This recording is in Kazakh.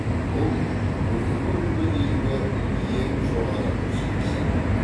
бұл бүгінгі күнге дейінгі ең жоғары көрсеткіші